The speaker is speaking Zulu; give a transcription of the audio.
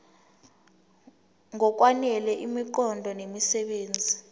ngokwanele imiqondo nemisebenzi